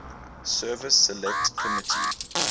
services select committee